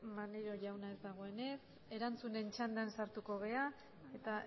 maneiro jauna ez dagoenez erantzunen txandan sartuko gara eta